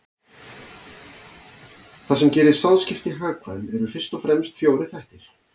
Það sem gerir sáðskipti hagkvæm eru fyrst og fremst fjórir þættir.